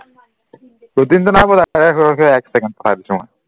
routine নাইপোৱা এক second পঠাই দিছো মই